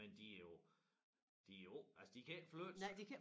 Men de jo de jo også altså de kan ikke flytte sig